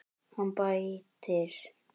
Hann bætir.